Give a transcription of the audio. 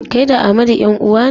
Kai da Amadu 'yan-uwa ne?